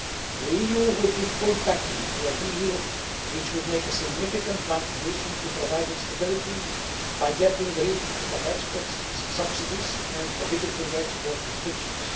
The EU would give full backing to a deal which would make a significant contribution to providing stability by getting rid of export subsidies and prohibiting export restrictions.